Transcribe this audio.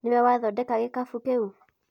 nĩwe wathondeka gĩkabũ kĩu